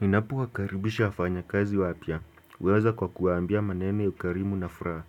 Ninapo wakaribisha wafanya kazi wapya, huanza kwa kuwaambia maneno ya ukarimu na furaha,